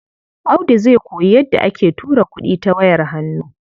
Audu zai koyi yadda ake tura kuɗi ta wayar hannu.